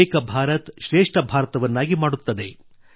ಏಕ ಭಾರತಶ್ರೇಷ್ಠ ಭಾರತವನ್ನಾಗಿ ಮಾಡುತ್ತದೆ